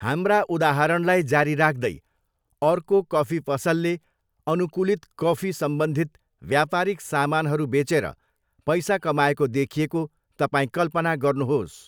हाम्रा उदाहरणलाई जारी राख्दै, अर्को कफी पसलले अनुकूलित कफी सम्बन्धित व्यापारिक सामानहरू बेचेर पैसा कमाएको देखिएको तपाईँ कल्पना गर्नुहोस्।